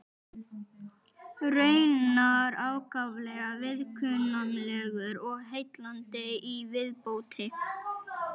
Raunar ákaflega viðkunnanlegur og heillandi í viðmóti.